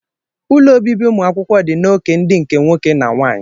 Ulọ obibi umụ akwukwo dị n'oke ndi nke nwoke na nwanyị.